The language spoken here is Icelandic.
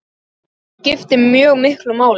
Það skipti mjög miklu máli.